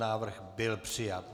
Návrh byl přijat.